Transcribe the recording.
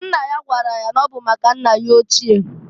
Nna ya gwara ya na ọ bụ maka nna ya ochie.